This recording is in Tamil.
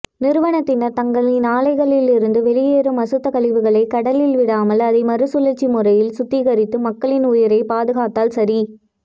நிறுவனத்தினர் தங்களின் ஆலையில் இருந்துவெளியேறும் அசுத்த கழிவுகளை கடலில் விடாமல் அதைமறு சூழச்சிமுறையில் சுத்திகரித்து மக்களின் உயிரை பாதுகாத்தல் சரி